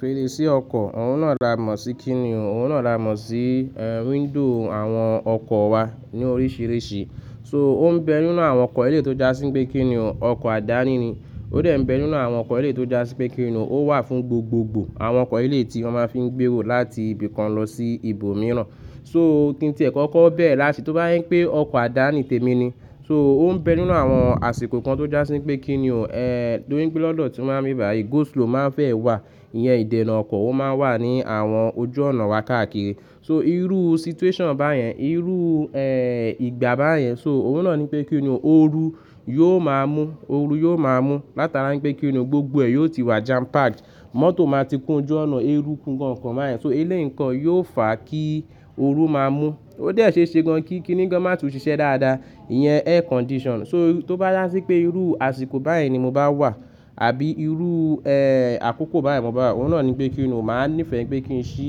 Fèrèsé ọkọ̀, òun náà ń la mọ̀ sí kí ni òun náà ń ra mọ̀ sí, eh, window àwọn ọkọ̀ wa ní oríṣìíríṣìí. So ó ń bẹ nínú àwọn ọkọ̀ elé tó já sí pé kí ni òun, ọkọ̀ àdáni ni. Ó dẹ̀ bẹ nínú àwọn ọkọ̀ elé tó já sí pé kí ni òun, ó wà fún gbogbogbò àwọn ọkọ̀ elé tí wọ́n máa fí ń gbèrò láti ibì kan lọ sí ibòmíràn. So kí tíẹ̀ kọ́ kọ́ bẹ́rẹ̀ láti tó bá jẹ́ pé ọkọ̀ àdáni tèmi ni. So ó ń bẹ nínú àwọn àsìkò kan tó já sí pé kí ni ò, eh, torípé lọ́dọ̀ tí wá n bí bàí, go slow máa ń fẹ́ wà. Ìyẹn ìdènà ọkọ̀ ó máa ń wà ní àwọn ojú ọ̀nà wa káàkiri. So irú situation báyẹn, irú, eh, ìgbà báyẹn so òun náà ni pé kí ni ò, ooru yóò máa mú, ooru yóò máa mú. Látara pé kí ni ò gbogbo ẹ̀ yóò ti wà jam packed. Mọ́tò máa ti kún ojú ọ̀nà, érúku n kan kan báyẹn. So eléyì n kan yóò fà kí ooru máa mú. Ó dẹ̀ ṣeése gan kí kí ni gan máa tún ṣiṣẹ́ dáadáa. Ìyẹn air condition. So tó bá yá sí pé irú àsìkò báyẹn ni mo bá wà àbí irú, eh, àkókò báyẹn mo bá wà, òun náà ni pé kí ni ò, mo máa nífẹ̀ẹ́ pé kí n ṣí,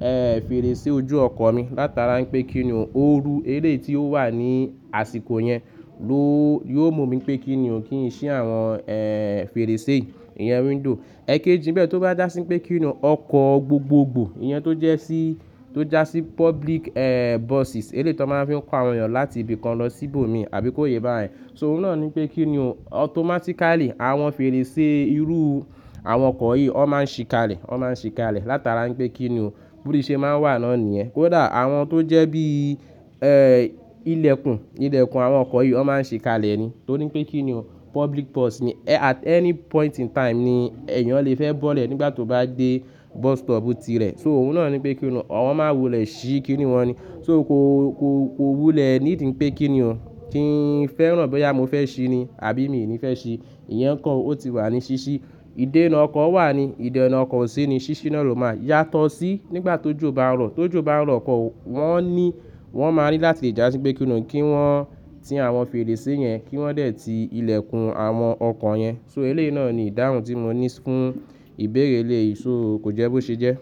eh, fèrèsé ojú ọkọ̀ mi. Látara pé kí ni ò ooru elé tíó wà ní àsìkò yẹn ló, yóò mú mi pé kí ni ò kí n ṣí àwọn, eh, fèrèsé, ìyẹn window. Ẹ kéji bẹ́ẹ̀ tó bá já sí pé kí ni ò ọkọ̀ gbogbogbò, iyan tó jẹ́ sí, tó já sí public, eh, buses elé tán máa ń fi ko àwọn èèyàn láti ibì kan lọ sí ibòmíràn àbí kó yé bá yẹn. So òun náà ni pé kí ni ò automatically àwọn fèrèsé irú àwọn ọkọ̀ yìí ọ́ máa ń ṣí kalẹ̀, ọ́ máa ń ṣí kalẹ̀. Látara pé kí ni ò bótíṣẹ́ máa ń wà náà nìyẹn. Kódà àwọn tó jẹ́ bí, eh, ilẹ̀kùn, ilẹ̀kùn àwọn ọkọ̀ yìí ó máa ń ṣí kalẹ̀ ni. Torí pé kí ni ò public bus ni. At any point in time ni èèyàn lè fẹ́ bọ́lẹ̀ nígbà tó bá dé bus stop tirẹ̀. So òun náà ni pé kí ni ò, àwọn máa wulẹ̀ ṣí kí ni wọ́n ni. So ko, ko, ko wúlẹ̀ nídi pé kí ni ò kí n fẹ́ràn bóyá mo fẹ́ ṣí ni àbí mi ò ní fẹ́ ṣí. Ìyẹn ǹkan ó ti wà ní ṣíṣí. Ìdènà ọkọ̀ wà ní, ìdènà ọkọ̀ ṣí ni ṣíṣí náà ló máa yàtọ̀ sí nígbà tó jò bá ń rọ̀. Tó jò bá ń rọ̀ ọkọ̀ wọ́n ní, wọ́n máa ní láti já sí pé kí ni ò kí wọ́n ti àwọn fèrèsé yẹn, kí wọ́n dẹ̀ ti ilẹ̀kùn àwọn ọkọ̀ yẹn. So eléyìí náà ni ìdáhùn tí mo ní fún ìbéèrè elè ì so kò jẹ́ bó ṣe jẹ́.